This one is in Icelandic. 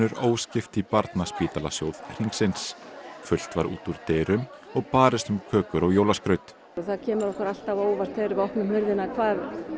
óskipt í Barnaspítalasjóð Hringsins fullt var út úr dyrum og barist um kökur og jólaskraut það kemur okkur alltaf á óvart þegar við opnum hurðina hvað